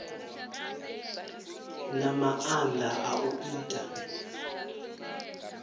na maanda a u ita